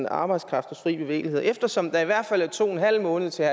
arbejdskraftens fri bevægelighed eftersom der i hvert fald er to en halv måned til